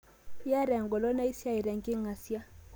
Iyata engolon niasie nenking'asia